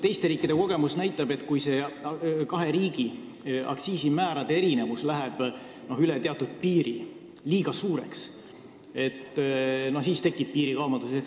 Teiste riikide kogemused näitavad, et kui kahe riigi aktsiisimäärade erinevus läheb üle teatud piiri, liiga suureks, siis tekib piirikaubandus.